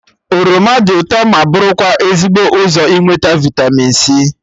Oroma dị ụtọ ma bụrụkwa ezigbo ụzọ inweta vịtamin c